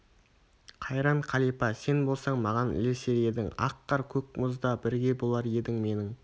қайран қалипа сен болсаң маған ілесер едің ақ қар көк мұзда да бірге болар едің менің